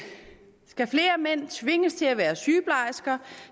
skal flere mænd tvinges til at være sygeplejersker